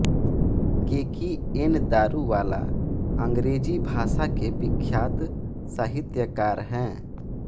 केकी N Daruwalla अंग्रेज़ी भाषा के विख्यात साहित्यकार हैं